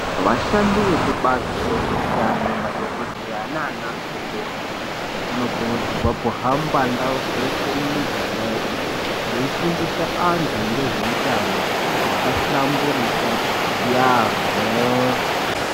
Vashandi vekubazi rezveutano, madhogodheya nanamukoti vanokurudzirwa kuhamba ndau dzeshe mumiganga yeshe veifundisa antu ngezveutano hwakahlamburika yaamho.